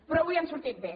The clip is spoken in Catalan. però avui han sortit bé